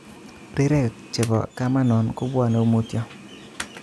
Rirek chebo kamanon kobwone mutyo